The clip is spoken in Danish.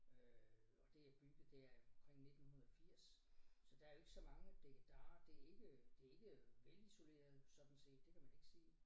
Øh og det er bygget det er omkring 1980 så der er jo ikke så mange dikkedarer det ikke det ikke velisoleret sådan set det kan man ikke sige